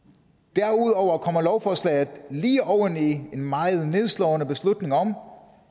derudover kommer lovforslaget lige oven i en meget nedslående beslutning om